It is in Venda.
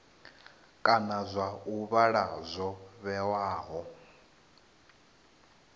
kana zwa ovala zwo vhewaho